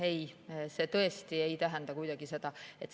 Ei, see tõesti ei tähenda seda.